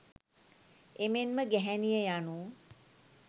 එමෙන්ම ගැහැණිය යනු